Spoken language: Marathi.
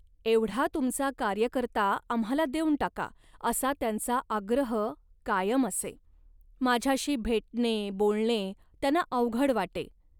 "एवढा तुमचा कार्यकर्ता आम्हाला देऊन टाका" असा त्यांचा आग्रह कायम असे. माझ्याशी भेटणे, बोलणे त्यांना अवघड वाटे